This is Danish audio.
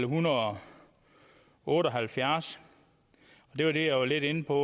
hundrede og otte og halvfjerds det var det jeg var inde på